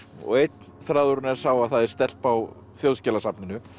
og einn þráðurinn er sá að það er stelpa á Þjóðskjalasafninu